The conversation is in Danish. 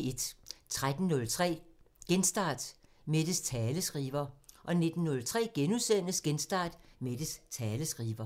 13:03: Genstart: Mettes taleskriver 19:03: Genstart: Mettes taleskriver *